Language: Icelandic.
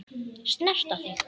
Snerta þig.